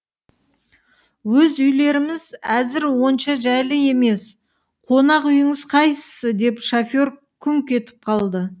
өз үйлеріміз әзір онша жайлы емес қонақ үйіңіз қайсы деп шофер күңк етіп қалды